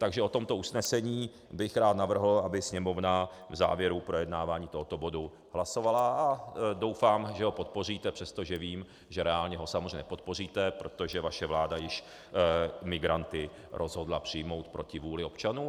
Takže o tomto usnesení bych rád navrhl, aby Sněmovna v závěru projednávání tohoto bodu hlasovala, a doufám, že ho podpoříte, přestože vím, že reálně ho samozřejmě nepodpoříte, protože vaše vláda již migranty rozhodla přijmout proti vůli občanů.